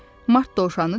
Mart dovşanı dedi.